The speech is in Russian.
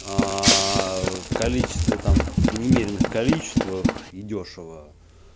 в количестве там каких-то немеренных количествах и дёшево